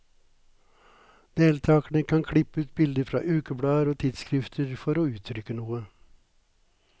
Deltakerne kan klippe ut bilder fra ukeblader og tidsskrifter for å uttrykke noe.